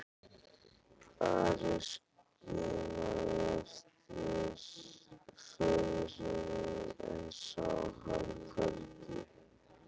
Ari skimaði eftir föður sínum en sá hann hvergi.